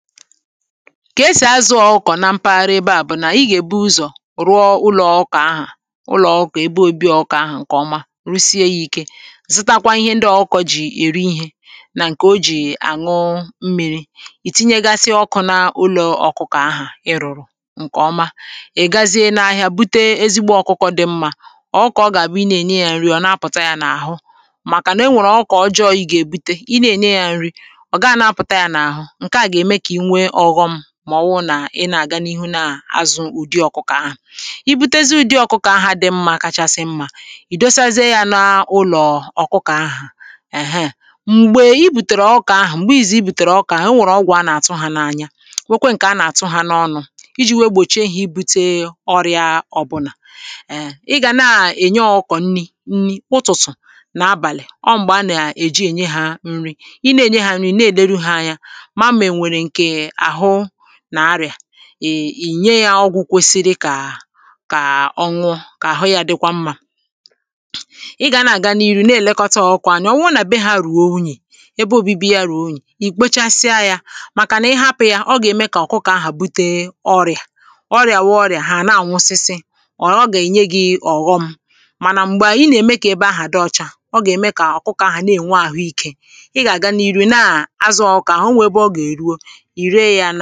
ka esì azụ̇ ọ̀kụkọ̀ na mpaghara ebe à bụ̀ nà ị gà-èbu ụzọ̀ rụọ ụlọ̀ ọ̀kụkọ̀ ahụ̀, ụlọ̀ ọ̀kụkọ̀ ebe obi ọ̀kụkọ̀ ahụ̀ ǹkè ọma, rụsie ya ike. zitakwa ihe ndị ọ̀kụkọ̀ jì èri ihė nà ǹkè o jì ànụ mmi̇ri̇ ì tinyegasị ọ̀kụ̇ na ụlọ̀ ọ̀kụkọ̀ ahụ̀ ị rụ̀rụ̀ ǹkè ọma ị̀ gazie n’ahịa bute ezigbo ọ̀kụkọ̀ dị mmȧ ọ̀kụkọ̀ ọ gà-àbụ ị na-ènye ya nri ọ̀ na-apụ̀ta ya n’àhụ màkà nà enwèrè ọ̀kụkọ̀ ọ̀jọọ̀ ị ga-èbute ị na-ènye ya nri ọ̀ gaa na-apụ̀ta ya n’àhụ màọwụ nà ị nà-àga n’ihu na-azụ ụ̀dị ọ̀kụkọ̀ ahụ̀ i butezi ụ̀dị ọ̀kụkọ̀ ahụ̀ dị mmȧ kachasị mmȧ ì dosaize ya n’ụlọ̀ ọ̀kụkọ̀ ahụ̀ èheè m̀gbè i bùtèrè ọkụkọ̀ ahụ̀ m̀gbè i zì i bùtèrè ọkụkọ̀ ahụ̀ o nwèrè ọgwọ̀ a nà-àtụ hȧ n’anya nwekwe ǹkè a nà-àtụ hȧ n’ọnụ̇ iji̇ wee gbòchie ihe i bute ọrịa ọ̀bụnà ee ị gà na-ènye ọkụ̀ nri nri ụtụtụ̀ nà abàlị̀ ọ m̀gbè a nà-èji ènye hȧ nri ị na-ènye hȧ nri na-èdere ha anya ì nye yȧ ọgwụ̇ kwesiri kà kà ọnwụ kà àhụ yȧ dịkwa mmȧ ịgȧ nà àga n’iru na-èlekọta ọkụ̇ ànyà ọwụrụ nà bee hȧ ruo unyi̇ ebe òbibi yȧ ruo unyi̇, ì kpochasịa yȧ màkànà ị hapụ̇ yȧ ọ gà-ème kà ọ̀kụkọ̀ ahụ̀ bute ọrị̀à ọrị̀à wụ ọrị̀à hà nà-ànwụsịsị ọ̀ ọ gà-enye gi̇ ọ̀ghọm mànà m̀gbè a ị nà-ème kà ebe ahụ̀ dị ọcha ọ gà-ème kà ọ̀kụkọ̀ ahụ̀ na-ènwe àhụ ikė ị gà-àga n’iru naà azụ̇ ọkà onwè ebe ọ gà-èruo ihe dị̇ ya n’anaghi̇